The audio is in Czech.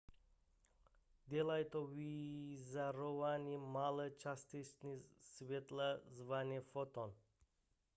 dělají to vyzařováním malé částice světla zvané foton